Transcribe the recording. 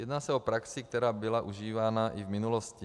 Jedná se o praxi, která byla užívána i v minulosti.